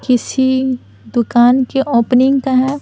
किसी दुकान के ओपनिंग का है।